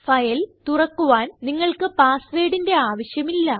file തുറക്കുവാൻ നിങ്ങൾക്ക് പാസ് വേർഡിന്റെ ആവശ്യമില്ല